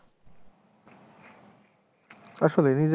আসলেই